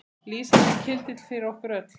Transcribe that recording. Lýsandi kyndill fyrir okkur öll.